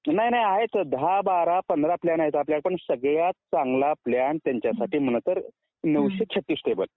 नाही नाही आहेत दहा बारा पंधरा प्लॅन आहेत आपल्याकडे पण सगळ्यात चांगला प्लॅन त्यांच्यासाठी म्हणजे नऊशे छत्तीस टेबल